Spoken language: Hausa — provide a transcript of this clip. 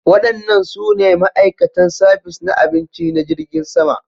Waɗannan su ne ma'aikatan sabis na abinci na jirgin sama